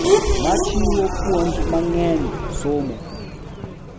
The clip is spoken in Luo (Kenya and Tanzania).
Ma chiwo puonj mang’eny, somo,